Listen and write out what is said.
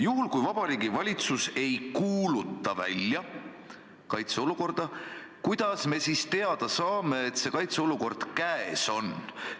Juhul kui Vabariigi Valitsus ei kuuluta välja kaitseolukorda, kuidas me siis teada saame, et see kaitseolukord käes on?